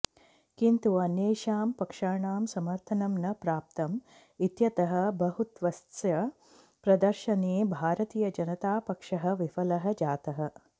किन्तु अन्येषां पक्षाणां समर्थनं न प्राप्तम् इत्यतः बहुत्वस्य प्रदर्शने भारतीयजनतापक्षः विफलः जातः